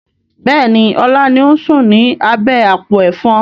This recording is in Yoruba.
Bẹ́ẹ̀ni, ọlá ni ó ń sùn ni abẹ́ àpò Ẹ̀fọn.